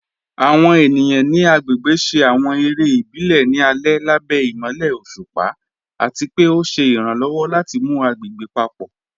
Àwọn ènìyàn ni agbégbè ṣé àwọn èrè ìbílẹ̀ ní alẹ̀ lábẹ̀ imọ̀lẹ̀ ọ̀ṣupa, àti pẹ̀ o ṣé iràǹlọ́wọ̀ láti mú agbégbè papọ.